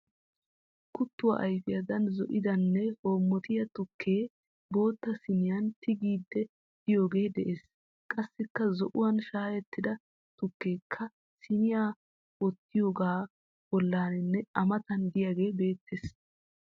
Kuttuwa ayifiyadan zo'idanne hoommotiya tukkee bootta siiniyan tigiiddi diyogee de'ees. Qassikka zo'uwan shaayettida tukkeekka siiniya wottiyogaa bollaaninne a matan diyagee beettes.